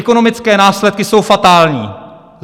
Ekonomické následky jsou fatální.